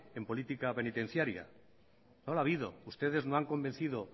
en política penitenciaria no la ha habido ustedes no han convencido